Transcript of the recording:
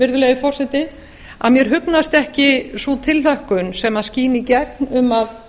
virðulegi forseti að mér hugnast ekki sú tilhlökkun sem skín í gegn um að